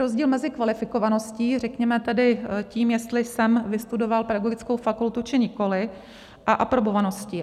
Rozdíl mezi kvalifikovaností, řekněme tedy tím, jestli jsem vystudoval pedagogickou fakultu, či nikoliv, a aprobovaností.